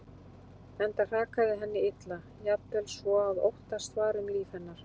Enda hrakaði henni illa, jafnvel svo að óttast var um líf hennar.